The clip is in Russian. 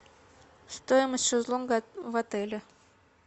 стоимость шезлонга в отеле